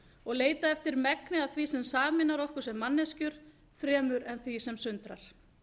og leita eftir megni af því sem sameinar okkur sem manneskjur fremur en því sem sundrar